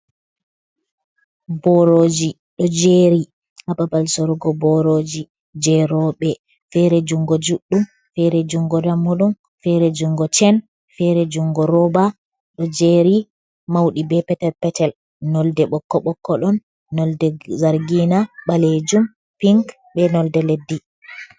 Boroji do jeri hababal sorugo boroji jerobe fere jungo juddum fere jungo dammudum fere jungo cen fere jungo rooba do jeri maudi be petel petel nolde bokko bokkodon nolde zargina balejum pink be nolde leddi.